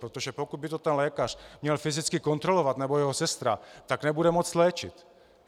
Protože pokud by to ten lékař měl fyzicky kontrolovat, nebo jeho sestra, tak nebude moct léčit.